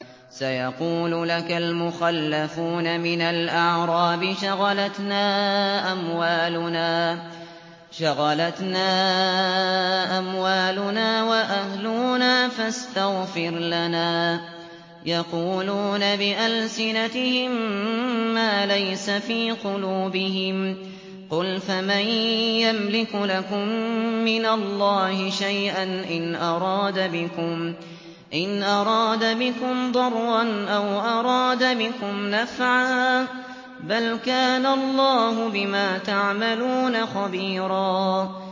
سَيَقُولُ لَكَ الْمُخَلَّفُونَ مِنَ الْأَعْرَابِ شَغَلَتْنَا أَمْوَالُنَا وَأَهْلُونَا فَاسْتَغْفِرْ لَنَا ۚ يَقُولُونَ بِأَلْسِنَتِهِم مَّا لَيْسَ فِي قُلُوبِهِمْ ۚ قُلْ فَمَن يَمْلِكُ لَكُم مِّنَ اللَّهِ شَيْئًا إِنْ أَرَادَ بِكُمْ ضَرًّا أَوْ أَرَادَ بِكُمْ نَفْعًا ۚ بَلْ كَانَ اللَّهُ بِمَا تَعْمَلُونَ خَبِيرًا